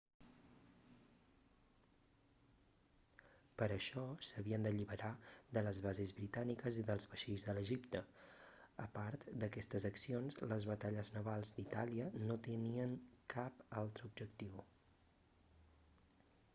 per a això s'havien d'alliberar de les bases britàniques i dels vaixells a l'egipte a part d'aquestes accions les batalles navals d'itàlia no tenien cap altre objectiu